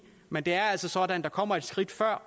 men det er altså sådan at der kommer et skridt før